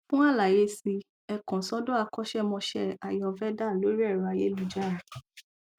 fún àlàyé si ẹ ẹ kàn ssọdọ akọṣẹmọsé ayurveda lórí ẹrọ ayélujára